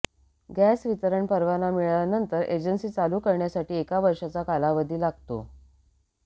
gas वितरण परवाना मिळाल्यानंतर एजन्सी चालू करण्यासाठी एक वर्षाचा कालावधी लागतो